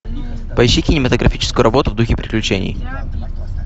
поищи кинематографическую работу в духе приключений